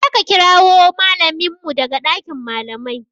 Je ka kirawo mallamin mu daga dakin malamai.